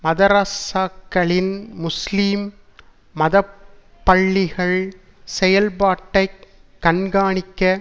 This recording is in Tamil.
மதரஸாக்களின் முஸ்லீம் மதப்பள்ளிகள் செயல்பாட்டைக் கண்காணிக்க